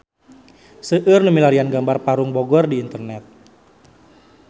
Seueur nu milarian gambar Parung Bogor di internet